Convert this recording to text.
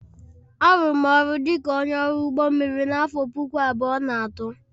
Arụụrụ m ọrụ dị ka onye ọrụ ụgbọ mmiri n'afọ puku abụọ na atọ